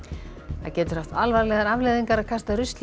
það getur haft alvarlegar afleiðingar að kasta rusli í